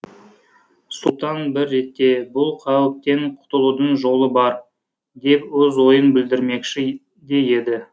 сұлтан бір ретте бұл қауіптен құтылудың жолы бар деп өз ойын білдірмекші де еді